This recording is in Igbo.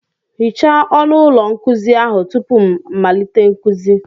Hichaa ọnụ ụlọ nkuzi ahụ tupu m malite nkuzi!